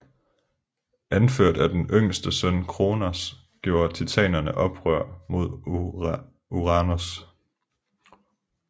Anført af den yngste søn Kronos gjorde titanerne oprør mod Uranos